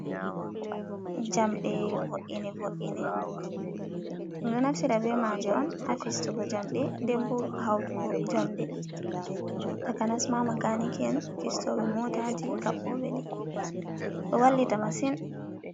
Njamɗe wone woine ɗum ɗo naftira be maje on ha fistugo jamɗe, nden bo hautugo jamde, takanas ma ma kaniki'en fistoɓe motaji kaɓɓoɓe ɗi, ɗo wallita masin.